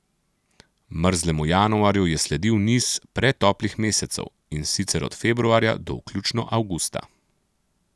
Mrzlemu januarju je sledil niz pretoplih mesecev, in sicer od februarja do vključno avgusta.